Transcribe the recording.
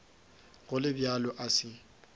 go le bjalo a se